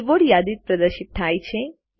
કીબોર્ડની યાદી પ્રદર્શિત થાય છે